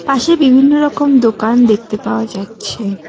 পাশে বিভিন্ন রকম দোকান দেখতে পাওয়া যাচ্ছে।